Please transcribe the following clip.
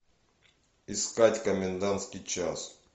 искать комендантский час